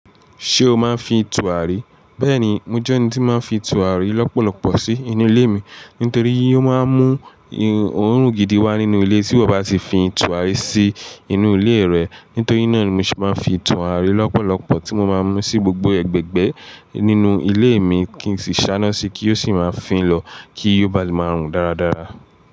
Ṣé o máa ń fi tùràrí? Bẹ́ẹ̀ni, mo jẹ́ ẹni tí máa ń fi tùràrí lọ́pọ̀lọpọ̀ sí inú ilé mi. Nítorí yì ó máa ń mú òórùn gidi wá nínú ilé tí ó bá ti fi tùràrí sí inú ilé rẹ̀. Nítorí náà ni mo ṣe máa ń fi tùràrí lọ́pọ̀lọpọ̀ tí mo máa ń mú sí gbogbo ẹgbẹ́gbẹ́ nínú ilé mi kí n sì sá iná sí i kí ó sì máa fín lọ kí yóò bá lè máa rùn dáradára.